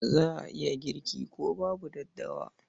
Za a iya girki ko babu daddawa.